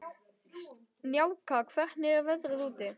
Snjáka, hvernig er veðrið úti?